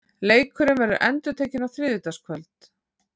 Leikurinn verður endurtekinn á þriðjudagskvöld.